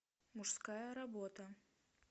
мужская работа